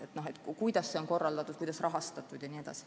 Siis tahetaks teada, kuidas see on korraldatud, kuidas rahastatud jne.